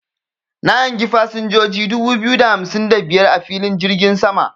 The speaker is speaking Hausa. Na hangi fasinjoji dubu biyu da hamsin da biyar a filin jirgin sama.